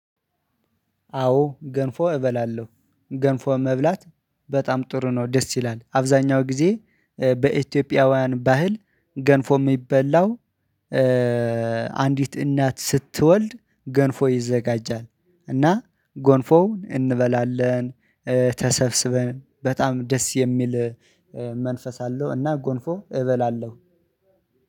አዎ ገንፎ እበላለሁ ገንፎ መብላት በጣም ጥሩ ነው። ደስ ይላል አብዛኛው ጊዜ በኢትዮጵያውያን ባህል ገንፎ የሚበላው። አንዲት እናት ስትወልድ ገንፎ ይዘጋጃል እና ጎንፎውን እንበላለን። ተሰብስበን በጣም ደስ የሚል መንፈስ አለው። እና ጎንፎ እበላለሁ